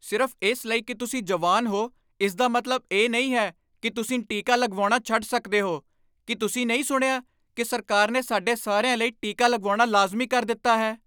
ਸਿਰਫ਼ ਇਸ ਲਈ ਕਿ ਤੁਸੀਂ ਜਵਾਨ ਹੋ, ਇਸਦਾ ਮਤਲਬ ਇਹ ਨਹੀਂ ਹੈ ਕਿ ਤੁਸੀਂ ਟੀਕਾ ਲਗਵਾਉਣਾ ਛੱਡ ਸਕਦੇ ਹੋ। ਕੀ ਤੁਸੀਂ ਨਹੀਂ ਸੁਣਿਆ ਕਿ ਸਰਕਾਰ ਨੇ ਸਾਡੇ ਸਾਰਿਆਂ ਲਈ ਟੀਕਾ ਲਗਵਾਉਣਾ ਲਾਜ਼ਮੀ ਕਰ ਦਿੱਤਾ ਹੈ?